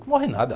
Não morre nada.